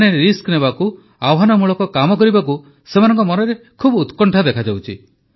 ମାନେ ରିସ୍କ ନେବାକୁ ଆହ୍ୱାନମୂଳକ କାମ କରିବାକୁ ସେମାନଙ୍କ ମନରେ ବହୁତ ଉତ୍କଣ୍ଠା ଦେଖାଯାଉଛି